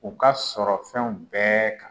U ka sɔrɔ fɛnw bɛɛ kan